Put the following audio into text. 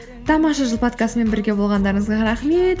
тамаша жыл подкастымен бірге болғандарыңызға рахмет